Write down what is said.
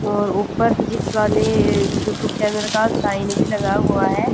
और ऊपर फिजिक्स वाले यूट्यूब चैनल का साइन भी लगा हुआ है।